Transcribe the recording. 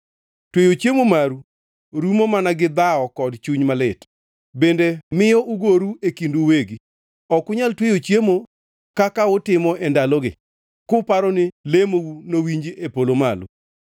Tweyo chiemo maru rumo mana gi dhawo kod chuny malit, bende miyo ugoru e kindu uwegi. Ok unyal tweyo chiemo kaka utimo e ndalogi kuparo ni lemou nowinj e polo malo.